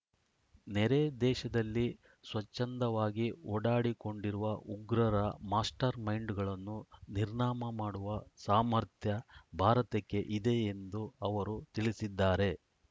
ನೆರೆ ದೇಶದಲ್ಲಿ ಸ್ವಚ್ಛಂದವಾಗಿ ಓಡಾಡಿಕೊಂಡಿರುವ ಉಗ್ರರ ಮಾಸ್ಟರ್‌ಮೈಂಡ್‌ಗಳನ್ನು ನಿರ್ನಾಮ ಮಾಡುವ ಸಾಮರ್ಥ್ಯ ಭಾರತಕ್ಕೆ ಇದೆ ಎಂದು ಅವರು ತಿಳಿಸಿದ್ದಾರೆ